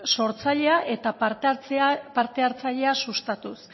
sortzailea eta parte hartzailea sustatuz